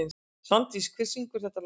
Svandís, hver syngur þetta lag?